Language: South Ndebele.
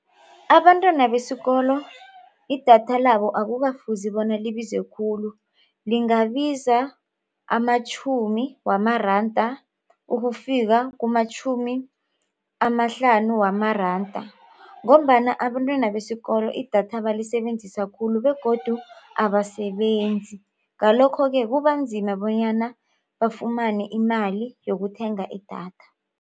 Abantwana besikolo idatha labo akukafuzi bona libize khulu. Lingabiza amatjhumi wamaranda ukufika kumatjhumi amahlanu wamaranda ngombana abentwana besikolo idatha balisebenzisa khulu begodu abasebenzi. Ngalokho-ke kubanzima bonyana bafumane imali yokuthenga idatha.